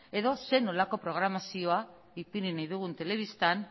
edo zein nolako programazioa ipini nahi dugun telebistan